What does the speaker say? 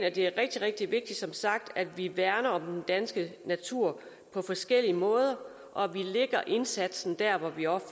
at det er rigtig rigtig vigtigt at vi værner om den danske natur på forskellige måder og at vi lægger indsatsen der hvor vi også